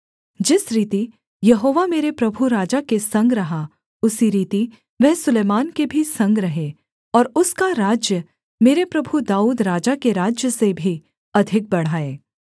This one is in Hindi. जिस रीति यहोवा मेरे प्रभु राजा के संग रहा उसी रीति वह सुलैमान के भी संग रहे और उसका राज्य मेरे प्रभु दाऊद राजा के राज्य से भी अधिक बढ़ाए